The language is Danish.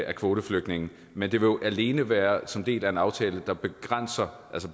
af kvoteflygtninge men det vil jo alene være som en del af en aftale der begrænser